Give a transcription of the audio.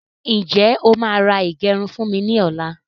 Ǹjẹ́ o máà ra ìgẹrun fún mi ní ọ̀la?